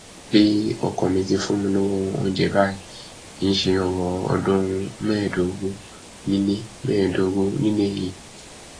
pé ọkọ mi ti fún mi lọwọ oúnjẹ báyìí kì í ṣe ọrọ ọdún mẹẹẹdógún nílẹ mẹẹẹdógún nílẹ yìí